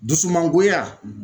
Dusumangoya